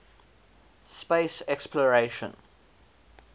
space exploration